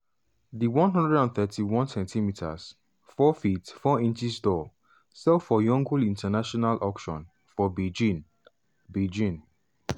di 131cm (4ft 4in) doll sell for yongle international auction for beijing. beijing.